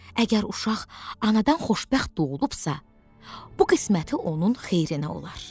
Əgər uşaq anadan xoşbəxt doğulubsa, bu qisməti onun xeyrinə olar.